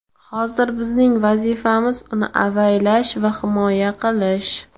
Hozir bizning vazifamiz uni avaylash va himoya qilish.